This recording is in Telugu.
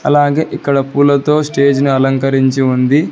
అలాగే ఇక్కడ పూలతో స్టేజిని అలంకరించి ఉంది.